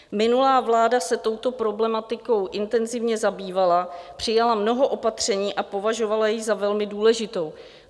Minulá vláda se touto problematikou intenzivně zabývala, přijala mnoho opatření a považovala ji za velmi důležitou.